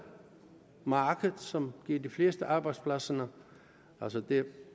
marked som giver de fleste arbejdspladser altså det